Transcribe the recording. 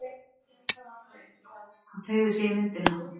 Hann teygði sig í myndina.